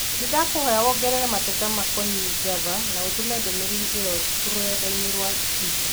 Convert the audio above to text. Nĩndakũhoya wongerere mateta makoniĩ Java na ũtũme ndũmĩrĩri ĩo rũrenda inĩ rwa tũita